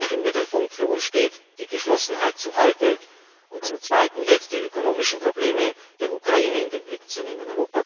Im Mittelpunkt steht für uns, die Geschlossenheit zu halten und zum Zweiten die ökonomischen Probleme der Ukraine in den Blick zu nehmen.